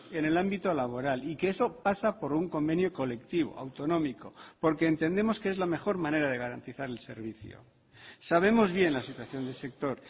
en el ámbito laboral y que eso pasa por un convenio colectivo autonómico porque entendemos que es la mejor manera de garantizar el servicio sabemos bien la situación del sector